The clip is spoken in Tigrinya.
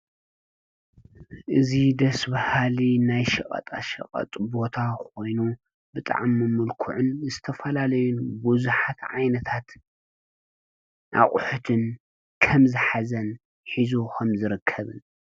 እዙ ደስብሃሊ ናይ ሽቐጣ ሽቐጡ ቦታ ኾይኑ ብጥዓመምልኩዕን ምስተፈላለዩን ብዙኃት ዓይነታት ኣቝሕትን ከም ዝኃዘን ኂዞኸም ዝረከብን።